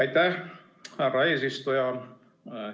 Aitäh, härra eesistuja!